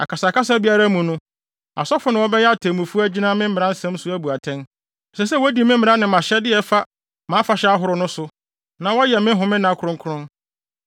“ ‘Akasakasa biara mu no, asɔfo na wɔbɛyɛ atemmufo agyina me mmaransɛm so abu atɛn. Ɛsɛ sɛ wodi me mmara ne mʼahyɛde a ɛfa mʼafahyɛ ahorow no so, na wɔyɛ me homenna kronkron.